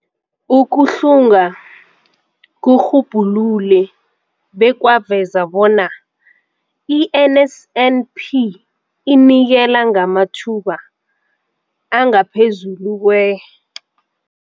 Ukuhlunga kurhubhulule bekwaveza bona i-NSNP inikela ngamathuba angaphezulu kwe-